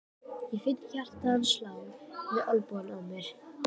Ég finn hjarta hans slá við olnbogann á mér.